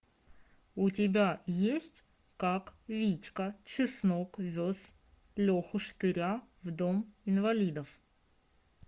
у тебя есть как витька чеснок вез леху штыря в дом инвалидов